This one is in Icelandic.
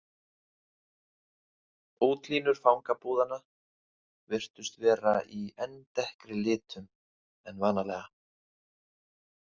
Útlínur fangabúðanna virtust vera í enn dekkri litum en vanalega.